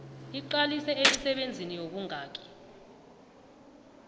iqalise emisebenzini yobungani